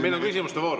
Meil on küsimuste voor.